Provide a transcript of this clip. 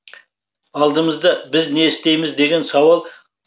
алдымызда біз не істейміз деген сауал